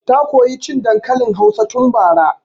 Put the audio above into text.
Ta koya cin dankalin hausa tun bara